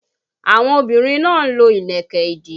Àwọn obìnrin náà lo ìlẹ̀kẹ̀ ìdí